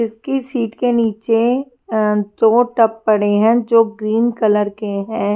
इसकी सीट के नीचे दो टप पड़े हैं जो ग्रीन कलर के हैं। --